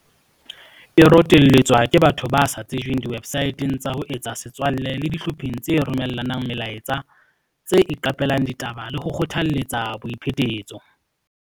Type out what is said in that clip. E rotelletswa ke batho ba sa tsejweng diwebsaeteng tsa ho etsa setswalle le dihlopheng tse romella nang melaetsa tse iqape lang ditaba le ho kgothaletsa boiphetetso.